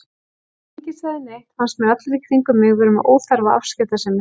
Þó enginn segði neitt fannst mér allir í kringum mig vera með óþarfa afskiptasemi.